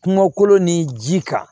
Kungo kolo ni ji kan